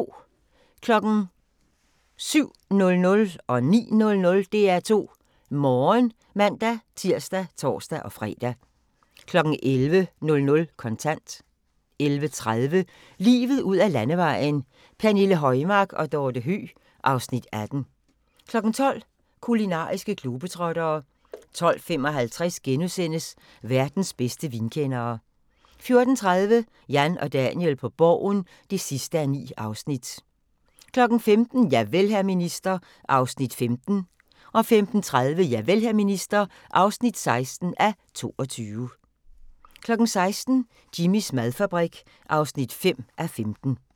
07:00: DR2 Morgen (man-tir og tor-fre) 09:00: DR2 Morgen (man-tir og tor-fre) 11:00: Kontant 11:30: Livet ud ad landevejen: Pernille Højmark og Dorthe Høeg (Afs. 18) 12:00: Kulinariske globetrottere 12:55: Verdens bedste vinkendere * 14:30: Jan og Daniel på Borgen (9:9) 15:00: Javel, hr. minister (15:22) 15:30: Javel, hr. minister (16:22) 16:00: Jimmys madfabrik (5:15)